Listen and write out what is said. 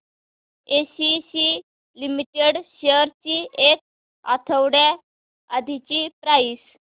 ACC limited shares ची एक आठवड्या आधीची प्राइस